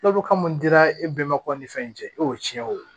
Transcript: Tulobulu ka mun dira e bɛnbakaw ni fɛn in cɛ e y'o tiɲɛ o